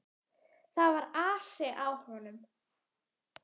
Það var asi á honum.